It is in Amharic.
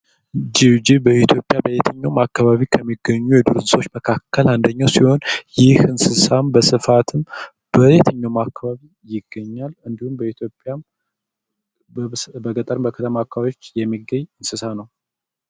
ጅብ ጅብ በኢትዮጵያ በየትኛውም አካባቢ ከሚገኙ የዱር እንስሳ መካከል አንደኛው ሲሆን ይህ እንስሳ በብዛትም በየትኛውም አካባቢ ይገኛል። አንዲሁም በኢትዮጵያም በገጠርም ፣በከተማም አካባቢ የሚገኝ እንስሳ ነው።